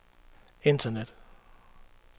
internet